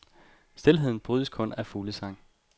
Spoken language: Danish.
Stilheden brydes kun af fuglesang.